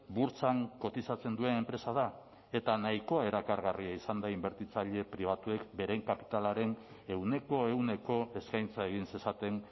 burtsan kotizatzen duen enpresa da eta nahikoa erakargarria izan da inbertitzaile pribatuek beren kapitalaren ehuneko ehuneko eskaintza egin zezaten